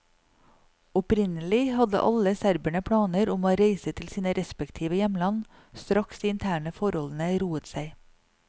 Opprinnelig hadde alle serberne planer om å reise til sine respektive hjemland straks de interne forholdene roet seg.